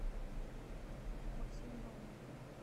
максиме наумове